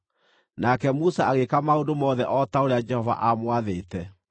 Nake Musa agĩĩka maũndũ mothe o ta ũrĩa Jehova aamwathĩte.